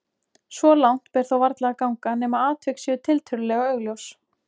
Svo langt ber þó varla að ganga nema atvik séu tiltölulega augljós.